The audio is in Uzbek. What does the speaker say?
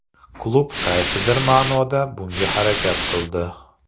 Klub qaysidir ma’noda bunga harakat qildi.